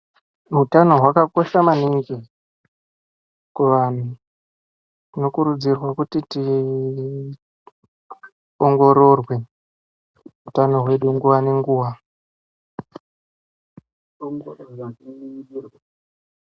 Utano hwakakosha maningi kuvantu tinokurudzirwa kuti tiongororwe utano hwedu nguwa nenguwa.